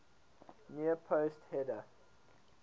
near post header